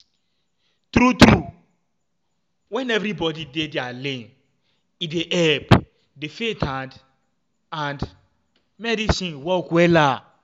tru tru eh wen everybodi dey dia lane e dey epp di faith and and medicine work wella